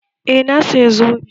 Eh, na saya zobe